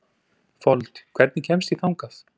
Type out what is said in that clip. Fold, hvernig kemst ég þangað?